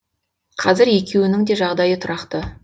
қазір екеуінің де жағдайы тұрақты